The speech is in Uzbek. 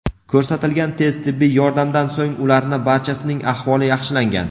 Ko‘rsatilgan tez tibbiy yordamdan so‘ng ularni barchasining ahvoli yaxshilangan.